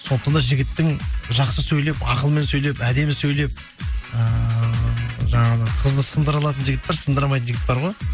сондықтан да жігіттің жақсы сөйлеп ақылмен сөйлеп әдемі сөйлеп ыыы жаңағы қызды сындыра алатын жігіт бар сындыра алмайтын жігіт бар ғой